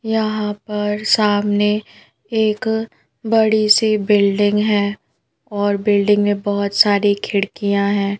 यहां पर सामने एक बड़ी सी बिल्डिंग है और बिल्डिंग में बहोत सारी खिड़कियां हैं।